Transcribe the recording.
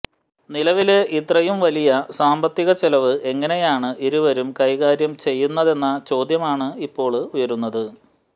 നിലവില് ഇത്രയും വലിയ സാമ്പത്തിക ചെലവ് എങ്ങനെയാണ് ഇരുവരും കൈകാര്യം ചെയ്യുന്നതെന്ന ചോദ്യമാണ് ഇപ്പോള് ഉയരുന്നത്